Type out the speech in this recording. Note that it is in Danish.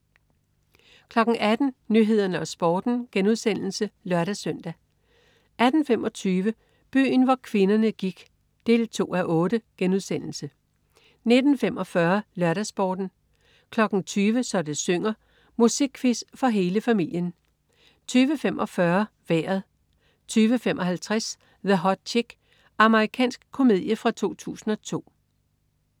18.00 Nyhederne og Sporten* (lør-søn) 18.25 Byen hvor kvinderne gik 2:8* 19.45 LørdagsSporten 20.00 Så det synger. Musikquiz for hele familien 20.45 Vejret 20.55 The Hot Chick. Amerikansk komedie fra 2002